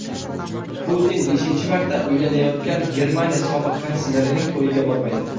Putin beshinchi marta uylanayotgan Germaniya sobiq kanslerining to‘yiga bormaydi.